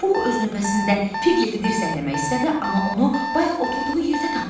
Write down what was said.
Pux öz növbəsində Piqleti dirsəkləmək istədi, amma onu bayaq oturduğu yerdə tapmadı.